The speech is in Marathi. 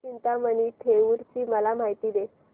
चिंतामणी थेऊर ची मला माहिती दे